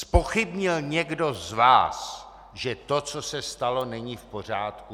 Zpochybnil někdo z vás, že to, co se stalo, není v pořádku?